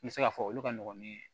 N bɛ se k'a fɔ olu ka nɔgɔn ni